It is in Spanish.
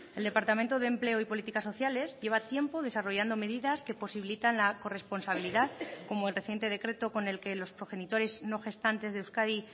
el departamento de empleo y políticas sociales lleva tiempo desarrollando medidas que posibilitan la corresponsabilidad como el reciente decreto con el que los progenitores no gestantes de euskadi